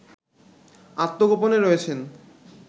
আত্মগোপনে রয়েছেন